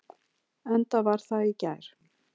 Enda var það í gær.